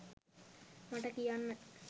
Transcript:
මට කියන්න.